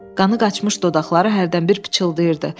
Qanı qaçmış dodaqları hərdən bir pıçıldayırdı.